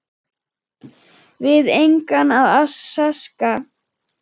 Við engan að sakast